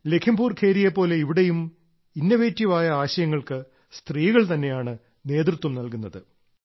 ലഘീംപുർ ഖീരിയെ പോലെ ഇവിടെയും ഇന്നവേറ്റീവ് ആയ ആശയങ്ങൾക്ക് സ്ത്രീകൾ തന്നെയാണ് നേതൃത്വം നൽകുന്നത്